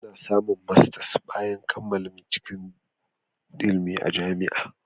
Ana samun masters bayan nasarar kammala binciken ilimi a Jami'ar